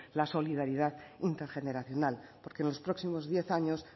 la solidaridad intergeneracional porque en los próximos diez años